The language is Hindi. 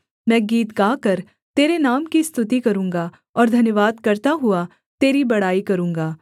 मैं गीत गाकर तेरे नाम की स्तुति करूँगा और धन्यवाद करता हुआ तेरी बड़ाई करूँगा